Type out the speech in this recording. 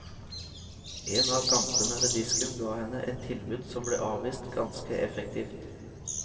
En av gampene ved disken ga henne et tilbud som ble avvist ganske effektivt.